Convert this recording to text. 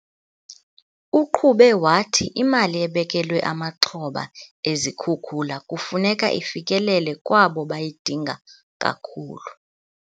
Uqhube wathi imali ebekelwe amaxhoba ezikhukula kufuneka ifikelele kwabo bayidinga kakhulu.